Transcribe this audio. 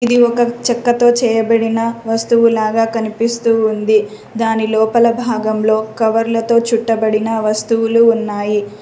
ఇది ఒక చెక్కతో చేయబడిన వస్తువు లాగా కనిపిస్తూ ఉంది దాని లోపల భాగంలో కవర్లతో చుట్టబడిన వస్తువులు ఉన్నాయి.